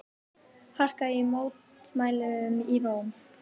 Harka í mótmælum í Róm